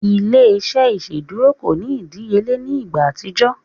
Ile-iṣẹ iṣeduro ko ni idiyele ni igba atijọ.